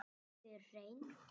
Þau eru hrein.